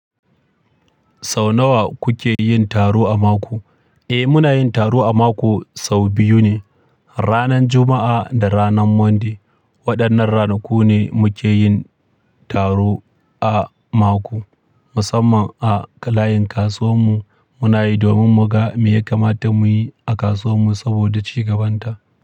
Sau nawa kuke yin taro a mako? Eh, muna yin taro a mako sau biyu ne, ranar Juma'a da ranar Monday. Waɗannan ranaku ne muke yin taro a mako, musamman a layin kasuwar mu. Muna yi domin mu ga me ya kamata mu yi a kasuwar mu saboda ci gabanta.